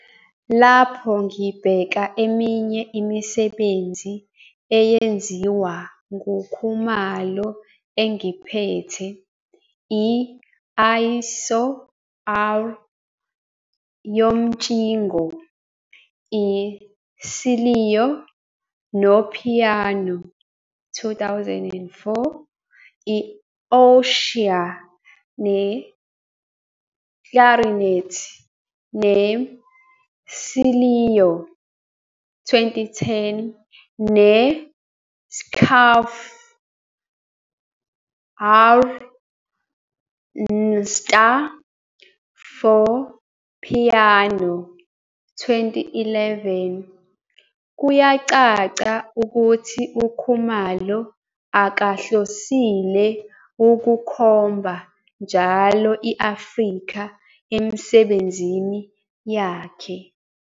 Lapho ngibheka eminye imisebenzi eyenziwa nguKhumalo engiphethe, i-ISO, R, yomtshingo, i-cello nopiyano, 2004, i-Ossia ye-clarinet ne-cello, 2010, ne-Schaufe, r, nster for piano, 2011, kuyacaca ukuthi uKhumalo akahlosile ukukhomba njalo i-Afrika emisebenzini yakhe.